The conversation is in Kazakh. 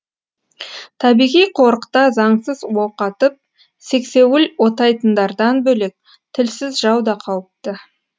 қорықта заңсыз оқ атып сексеуіл отайтындардан бөлек тілсіз жау да қауіпті